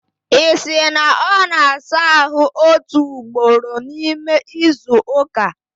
Isi! na ọ na-asa ahụ otu ugboro n'ime izu ụka?